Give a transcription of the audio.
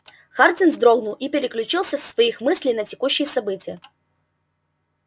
хардин вздрогнул и переключился со своих мыслей на текущие события